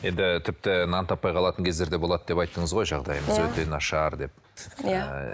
енді тіпті нан таппай қалатын кездер де болады деп айттыңыз ғой жағдайымыз өте нашар деп иә